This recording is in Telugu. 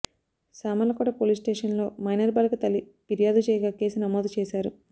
సామర్లకోట పోలీస్ స్టేషన్లో మైనర్ బాలిక తల్లి పిర్యాదు చేయగా కేసు నమోదు చేశారు